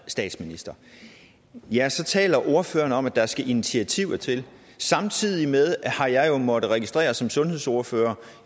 statsminister ja så taler ordføreren om at der skal initiativer til samtidig med har jeg jo måttet registrere som sundhedsordfører